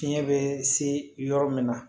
Fiɲɛ bɛ se yɔrɔ min na